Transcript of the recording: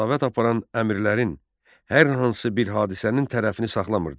Ədavət aparan əmrlərin hər hansı bir hadisənin tərəfini saxlamırdı.